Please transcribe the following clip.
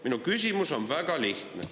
Minu küsimus on väga lihtne.